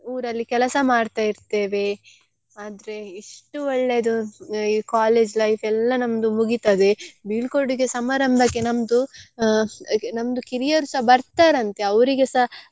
ಊರಲ್ಲಿ ಕೆಲಸ ಮಾಡ್ತಾ ಇರ್ತೇವೆ ಆದ್ರೆ ಇಷ್ಟು ಒಳ್ಳೇದು college life ಎಲ್ಲಾ ನಮ್ದು ಮುಗಿತದೆ ಬೀಳ್ಕೊಡುಗೆ ಸಮಾರಂಬಕ್ಕೆ ನಮ್ದು ಆ ನಮ್ದು ಕಿರಿಯರು ಸಹ ಬರ್ತಾರೆ ಅಂತೆ ಅವ್ರಿಗೆಸ.